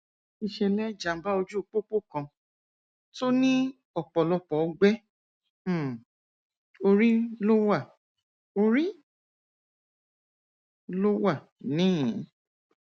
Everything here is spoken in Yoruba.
ìṣẹlẹ jàǹbá ojú pópó kan tó ní ọpọlọpọ ọgbẹ um orí ló wà orí ló wà níhìnín